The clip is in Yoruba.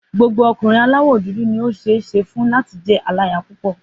Gbogbo ọkùnrin aláwọ̀ dúdú ni ó ṣeé ṣe fún láti jẹ́ aláya púpọ̀.